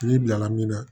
N'i bilala min na